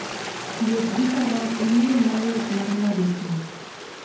Wuoth gi faras en yo mayot mar ng'ado thim.